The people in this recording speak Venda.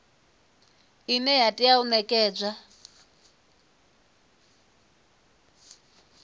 ine ya tea u nekedzwa